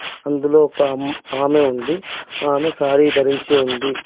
అందులో ఒక అమ్ ఆమె ఉంది. ఆమె శారీ ధరించి ఉంది.